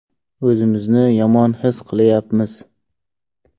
O‘zimizni yomon his qilyapmiz.